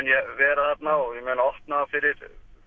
ég vera þarna og ég mun opna fyrir